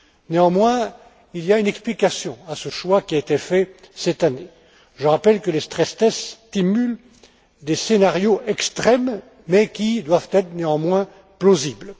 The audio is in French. Néanmoins, il y a une explication à ce choix qui a été fait cette année. Je rappelle que les stress tests simulent des scénarios extrêmes mais qui doivent être néanmoins plausibles.